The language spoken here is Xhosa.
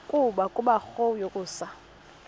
nto kubarrow yokusa